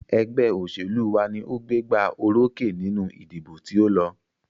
Ẹgbẹ́ òṣèlú wa ní o gbégbá orókè nínú ìdìbò tí o lọ.